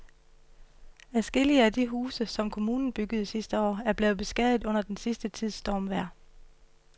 Adskillige af de huse, som kommunen byggede sidste år, er blevet beskadiget under den sidste tids stormvejr.